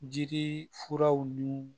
Jiri furaw nun